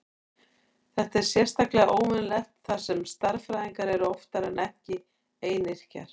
Þetta er sérstaklega óvenjulegt þar sem stærðfræðingar eru oftar en ekki einyrkjar.